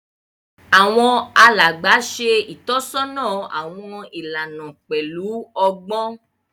Àwọn alàgbà ṣe itọsọna awọn ìlànà pẹlu ọgbọn